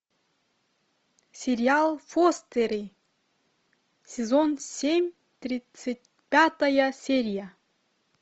сериал фостеры сезон семь тридцать пятая серия